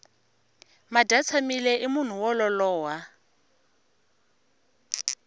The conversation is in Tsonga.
madyatshamile i munhu wo lolowa